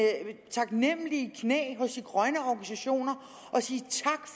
taknemlige knæ hos de grønne organisationer og sige